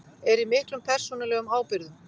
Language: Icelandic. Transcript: Er í miklum persónulegum ábyrgðum